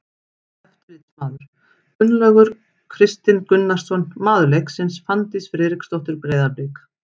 Eftirlitsmaður: Guðlaugur Kristinn Gunnarsson Maður leiksins: Fanndís Friðriksdóttir, Breiðablik.